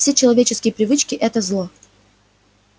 все человеческие привычки это зло